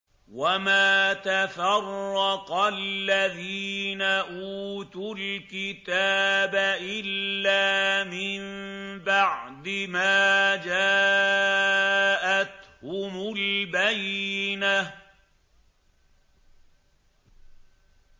وَمَا تَفَرَّقَ الَّذِينَ أُوتُوا الْكِتَابَ إِلَّا مِن بَعْدِ مَا جَاءَتْهُمُ الْبَيِّنَةُ